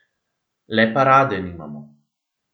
Le parade nimamo.